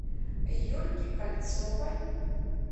юльки кольцовой